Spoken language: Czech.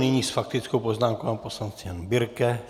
Nyní s faktickou poznámkou pan poslanec Jan Birke.